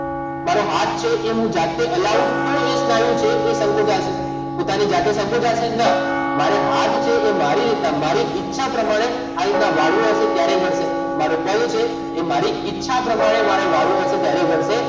મારો હાથ છે એ હું જાતે હલાવું તો એ સ્નાયુ છે એ સંકોચાશે પોતાની જાતે સંકોચાશે ના મારે હાથ છે એ મારી રીતના મારી ઇચ્છા પ્રમાણે આ રીતના વાળવો હશે ત્યારે વળશે મારો ગળું છે એ મારી ઇચ્છા પ્રમાણે મારે વાળવો હશે ત્યારે વળશે